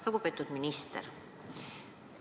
Lugupeetud minister!